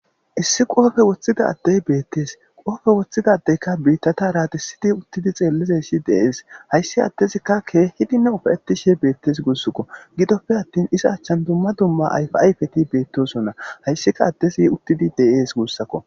Issi qoofe woththida addey beettees. qoofe woththidaddeyka biittata aradissidi uttidi xeellizeshi deees. hayssi addezikka keehidinne ufaettishi beettes gussukk.o gidoppe attin iza achchan dumma dumma ayfi ayfeti beettosonna hayssika addesi uttidi de7ees guussakko.